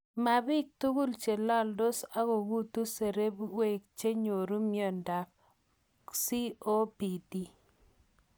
Mabiik tugul chelaldos akong'utu seberiikchenyoru miondo ab COPD